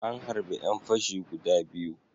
An harbe ƴan fashi guda biyu.